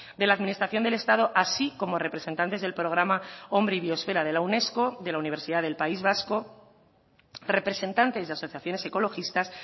de la administración del estado así como representantes del programa hombre y biosfera de la unesco de la universidad del país vasco representantes y asociaciones ecologistas